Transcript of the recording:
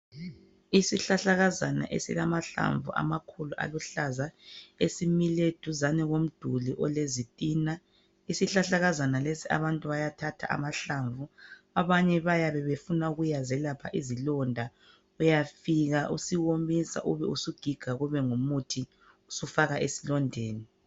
Isihlahlakazana esilamahlamvu amakhulu aluhlaza esimile duzane komduli olezitina. Isihlahlakazana lesi. abantu bayathatha amahlamvu aso. Abanye bayabe befuna ukuyazelapha izilonda. Uyafika usiwomisa ubusugiga kube ngumuthi usufaka esilondeni.